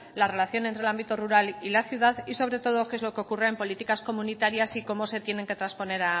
la relación entre el ámbito rural y la ciudad y sobre todo qué es lo ocurre en políticas comunitarias y cómo se tienen que trasponer